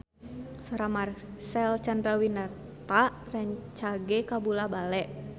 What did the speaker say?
Sora Marcel Chandrawinata rancage kabula-bale